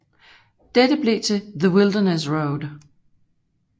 Dette blev til The Wilderness Road